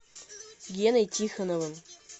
геной тихоновым